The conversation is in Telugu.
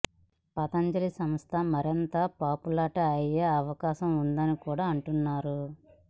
పతంజలి సంస్థ మరింత పాపులాట అయ్యే అవకాశం ఉందని కూడా అంటున్నారు